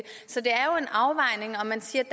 så det er jo en afvejning om man siger